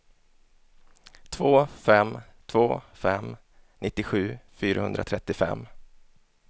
två fem två fem nittiosju fyrahundratrettiofem